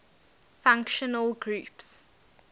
functional groups